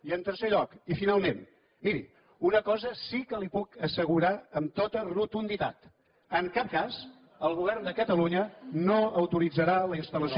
i en tercer lloc i finalment miri una cosa sí que li puc assegurar amb tota rotunditat en cap cas el govern de catalunya no autoritzarà la instal·lació